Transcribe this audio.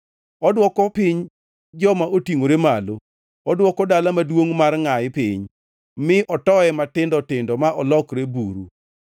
Odwoko piny joma otingʼore malo, odwoko dala maduongʼ mar ngʼayi piny, mi otoye matindo tindo ma olokre buru.